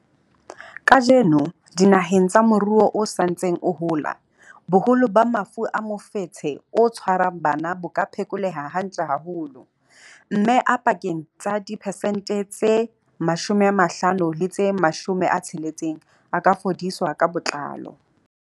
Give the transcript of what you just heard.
Kajeno, dinaheng tsa moruo o sa ntseng o hola, boholo ba mafu a mofetshe o tshwarang bana bo ka phekoleha hantle haholo, mme a pakeng tsa diphesente tse 50 le tse 60 a ka fodiswa ka botlalo.